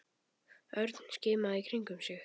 Örn skimaði í kringum sig.